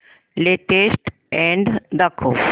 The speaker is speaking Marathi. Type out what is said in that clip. लेटेस्ट अॅड दाखव